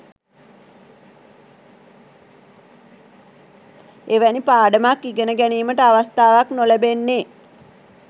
එවැනි පාඩමක් ඉගෙන ගැනීමට අවස්ථාවක් නොලැබෙන්නේ